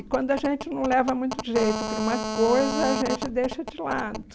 E quando a gente não leva muito jeito para uma coisa, a gente deixa de lado.